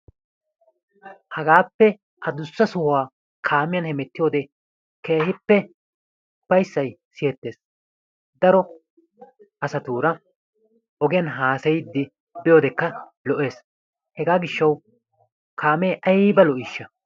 Hagaappe adussa sohuwa kaamiyan hamettiyode keehippe ufayissay siyettes. Daro asatuura ogiyan haasayiiddi biyodeekka lo'ees. Hegaa gishshawu kaamee ayiba lo'iishsha!